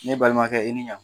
Ne balimakɛ i ni ɲan